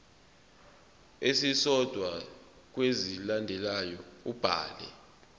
esisodwa kwezilandelayo ubhale